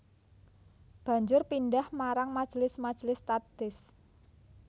Banjur pindhah marang majelis majelis tahdits